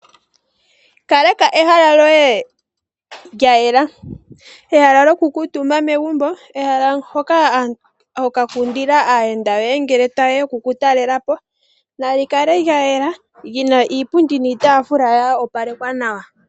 Kaleka ehala lyoye lya yela. Ehala lyoku kuutumba megumbo. Ehala hoka hokakundila aayenda yoye ngele tayeya oku ku talelapo. Nali kale lya yela lyina iipundi niitaafula ya opalekwa nawa.